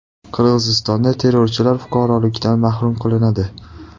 Qirg‘izistonda terrorchilar fuqarolikdan mahrum qilinadi.